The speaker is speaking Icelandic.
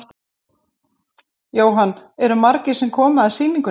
Jóhann: Eru margir sem koma að sýningunni?